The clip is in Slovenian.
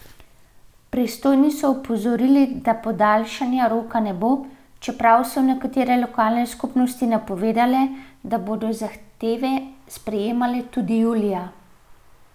Pristojni so opozorili, da podaljšanja roka ne bo, čeprav so nekatere lokalne skupnosti napovedale, da bodo zahteve sprejemale tudi julija.